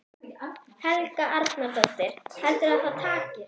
Helga Arnardóttir: Heldurðu að það takist?